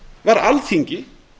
var alþingi